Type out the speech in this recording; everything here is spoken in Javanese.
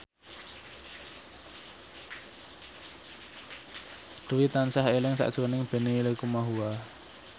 Dwi tansah eling sakjroning Benny Likumahua